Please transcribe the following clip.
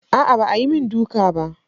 Aa ba ayi min duka bah.